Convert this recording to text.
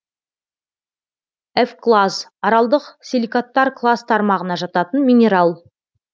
эвклаз аралдық силикаттар класс тармағына жататын минерал